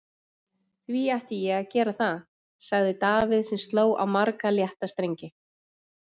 Því ætti ég að gera það? sagði Davíð sem sló á marga létta strengi.